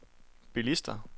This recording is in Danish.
bilister